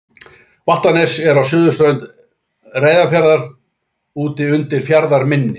Vattarnes er á suðurströnd Reyðarfjarðar úti undir fjarðarmynni.